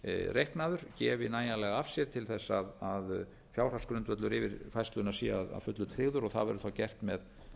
reiknaður gefi nægjanlega af sér til þess að fjárhagsgrundvöllur yfirfærslunnar sé að fullu tryggður það verður þá gert með